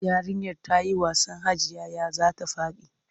Yarinyar ta yi wasan hajijiya za ta faɗi.